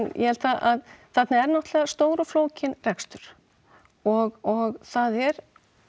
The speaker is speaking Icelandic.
ég held að þarna er náttúrulega stór og flókin rekstur og það er